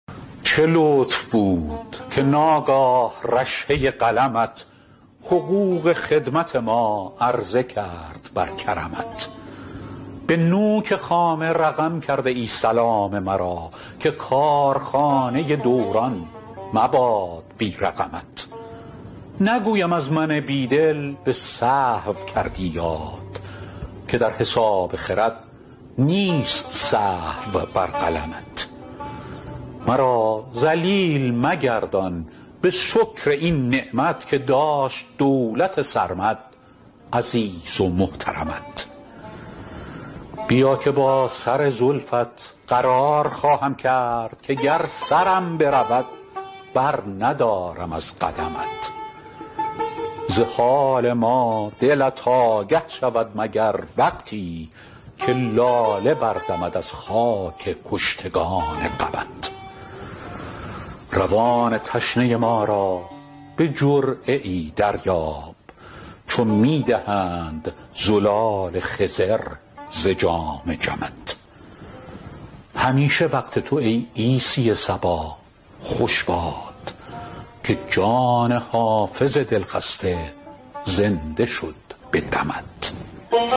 چه لطف بود که ناگاه رشحه قلمت حقوق خدمت ما عرضه کرد بر کرمت به نوک خامه رقم کرده ای سلام مرا که کارخانه دوران مباد بی رقمت نگویم از من بی دل به سهو کردی یاد که در حساب خرد نیست سهو بر قلمت مرا ذلیل مگردان به شکر این نعمت که داشت دولت سرمد عزیز و محترمت بیا که با سر زلفت قرار خواهم کرد که گر سرم برود برندارم از قدمت ز حال ما دلت آگه شود مگر وقتی که لاله بردمد از خاک کشتگان غمت روان تشنه ما را به جرعه ای دریاب چو می دهند زلال خضر ز جام جمت همیشه وقت تو ای عیسی صبا خوش باد که جان حافظ دلخسته زنده شد به دمت